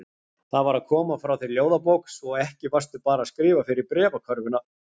Það var að koma frá þér ljóðabók, svo ekki varstu bara að skrifa fyrir bréfakörfuna.